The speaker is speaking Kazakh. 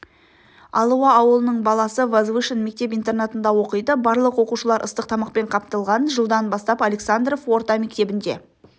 алуа ауылының баласы возвышен мектеп-интернатында оқиды барлық оқушылар ыстық тамақпен қамтылған жылдан бастап александров орта мектебінде